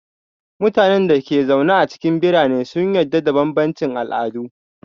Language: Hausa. Mutanen da ke zaune a cikin birane sun yarda da bambancin al'adu.